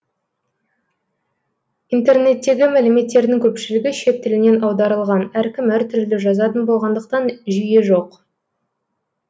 интернеттегі мәліметтердің көпшілігі шет тілінен аударылған әркім әртүрлі жазатын болғандықтан жүйе жоқ